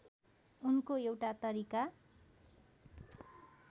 उनको एउटा तरिका